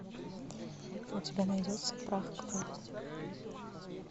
у тебя найдется прах к праху